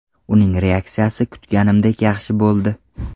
Uning reaksiyasi kutganimdek yaxshi bo‘ldi.